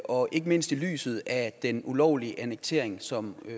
og ikke mindst i lyset af den ulovlige annektering som